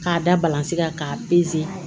K'a da balansi kan k'a